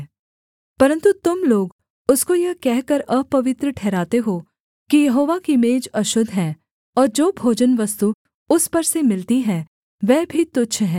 परन्तु तुम लोग उसको यह कहकर अपवित्र ठहराते हो कि यहोवा की मेज अशुद्ध है और जो भोजनवस्तु उस पर से मिलती है वह भी तुच्छ है